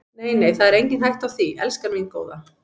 Nei, nei, það er engin hætta á því, elskan mín góða.